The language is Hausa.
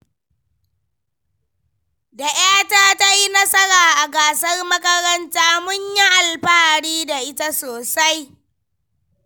Da ‘yata ta yi nasara a gasar makaranta, mun yi alfahari da ita sosai.